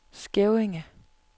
Skævinge